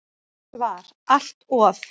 SVAR Allt of.